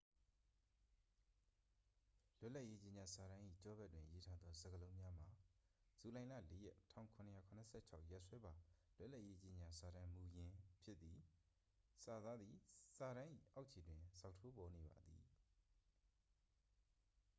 "လွတ်လပ်ရေး ကြေညာစာတမ်း၏ ကျောဘက်တွင် ရေးထားသော စကားလုံးများမှာ "ဇူလိုင်လ ၄ ရက် ၁၇၇၆ ရက်စွဲပါ လွတ်လပ်ရေး ကြေညာချက်စာတမ်းမူရင်း" ဖြစ်သည်။ စာသားသည် စာတမ်း၏ အောက်ခြေတွင် ဇောက်ထိုး ပေါ်နေပါသည်။